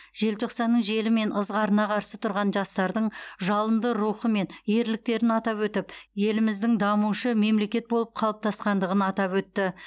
желтоқсанның желі мен ызғарына қарсы тұрған жастардың жалынды рухы мен ерліктерін атап өтіп еліміздің даушы мемлекет болып қалыптасқандығын атап өтті